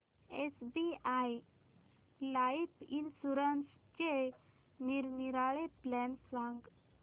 SBI life इन्शुरन्सचे निरनिराळे plan सांग